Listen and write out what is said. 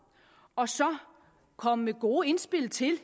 og så komme med gode indspil til